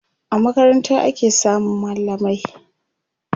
a makaranta ake samun mallamai